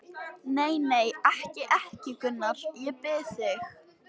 Nei, nei, ekki, ekki, Gunnar, ég bið þig.